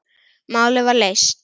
Málið var leyst.